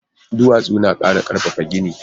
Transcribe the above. Duwatsu na ƙara ƙarfafa gini